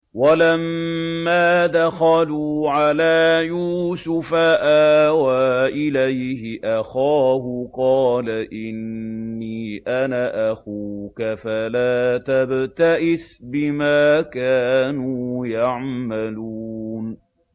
وَلَمَّا دَخَلُوا عَلَىٰ يُوسُفَ آوَىٰ إِلَيْهِ أَخَاهُ ۖ قَالَ إِنِّي أَنَا أَخُوكَ فَلَا تَبْتَئِسْ بِمَا كَانُوا يَعْمَلُونَ